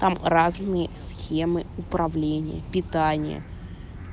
там разные схемы управления питания